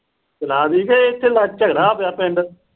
ਜਲਾ ਤੀ ਕਿ ਝਗੜਾ ਪਿਆ ਪਿੰਡ।